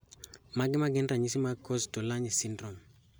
Mage magin ranyisi mag Kosztolanyi syndrome?